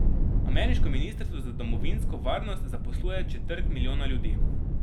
Ameriško ministrstvo za domovinsko varnost zaposluje četrt milijona ljudi.